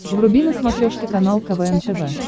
вруби на смотрешке канал квн тв